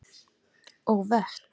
og vötn.